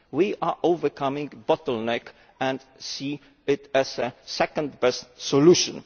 We are overcoming the bottleneck and see it as the second best solution.